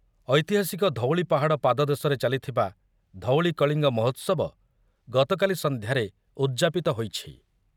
ଐତିହାସିକ ଧଉଳି ପାହାଡ଼ ପାଦଦେଶରେ ଚାଲିଥିବା ଧଉଳି କଳିଙ୍ଗ ମହୋତ୍ସବ ଗତକାଲି ସନ୍ଧ୍ୟାରେ ଉଦ୍‌ଯାପିତ ହୋଇଛି।